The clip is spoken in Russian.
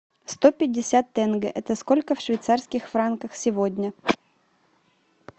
сто пятьдесят тенге это сколько в швейцарских франках сегодня